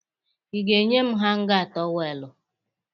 Ị ga-enye m hanga tọweelụ!